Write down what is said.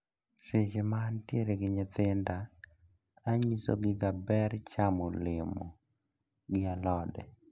Seche ma antiere gi nyithinda, anyisogiga ber chamo olemo gi alode.